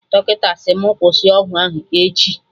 Dọkịta sị mụ kwụsị ọgwụ ahụ echi